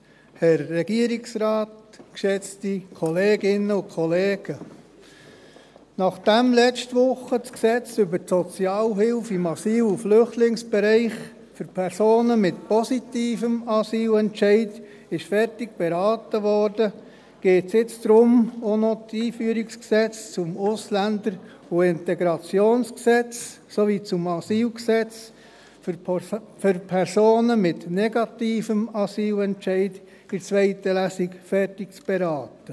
der SiK. Nachdem letzte Woche das Gesetz über die Sozialhilfe im Asyl- und Flüchtlingsbereich (SAFG) für Personen mit positivem Asylentscheid fertig beraten wurde, geht es jetzt darum, auch noch (EG AIG und AsylG) für Personen mit negativem Asylentscheid in der zweiten Lesung fertig zu beraten.